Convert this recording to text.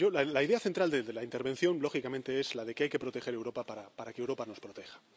La idea central de la intervención, lógicamente, es la de que hay que proteger Europa para que Europa nos proteja.